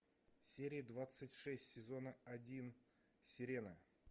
серия двадцать шесть сезона один сирена